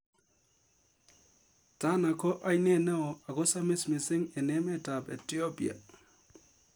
Tana ko ainet neo ako samis missing eng emet ab Ethiopia